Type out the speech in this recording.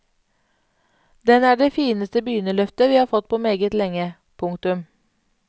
Den er det fineste begynnerløfte vi har fått på meget lenge. punktum